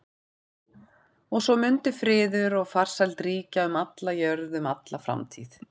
Og svo mundi friður og farsæld ríkja um alla jörð um alla framtíð.